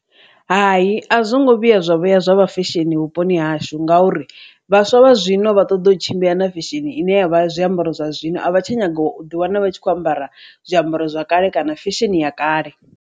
Hai, a zwo ngo vhuya zwavho ya zwavha fesheni vhuponi hashu ngauri vhaswa vha zwino vha ṱoḓa u tshimbila na fesheni ine yavha zwiambaro zwa zwino a vha tsha nyaga u ḓi wana vha tshi kho ambara zwiambaro zwa kale kana fesheni ya kale.